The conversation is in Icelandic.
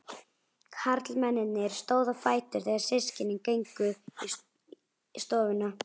Karlmennirnir stóðu á fætur þegar systkinin gengu í stofuna.